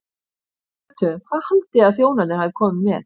Þegar við pöntuðum, hvað haldið þið að þjónarnir hafi komið með?